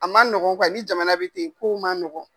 A ma nɔgɔn kuwa ni jamana bɛ ten, kow ma ma nɔgɔn.